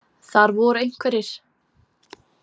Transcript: Þar voru einhverjir.